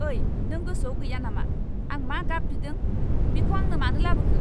ओइ, नों गोसोआव गैया नामा आं मा गाब बिदों? बेखौ आंनो मानो लाबोखो?